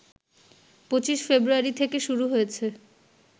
২৫ February থেকে শুরু হয়েছে